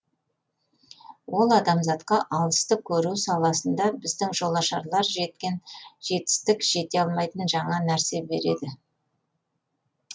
ол адамзатқа алысты көру саласында біздің жолашарлар жеткен жетістік жете алмайтын жаңа нәрсе береді